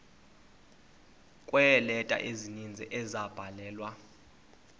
kweeleta ezininzi ezabhalelwa